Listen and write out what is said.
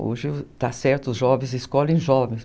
Hoje, está certo, os jovens escolhem jovens.